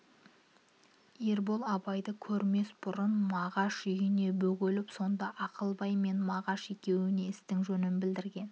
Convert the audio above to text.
ербол абайды көрмес бұрын мағаш үйіне бөгеліп сонда ақылбай мен мағаш екеуіне істің жөнін білдірген